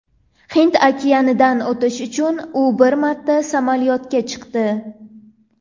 Hind okeanidan o‘tish uchun u bir marta samolyotga chiqdi.